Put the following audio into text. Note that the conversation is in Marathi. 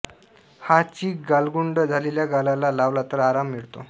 हा चीक गालगुंड झालेल्या गालाला लावला तर आराम मिळतो